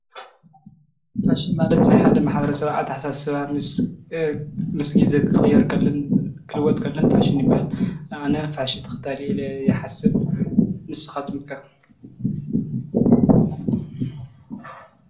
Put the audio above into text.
ፋሽን ማለት ንሓደ ማሕበረሰብ ኣተሓሳስባ ምስ ጊዜ ክቕየር ከሎን ክልወጥ ከሎን ፋሽን ይበሃል ።ኣነ ፋሽን ተኸታሊ ኢለ ይሓስብ ንስኻትኩምከ ?